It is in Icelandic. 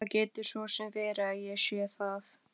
Það getur svo sem verið að ég sé það.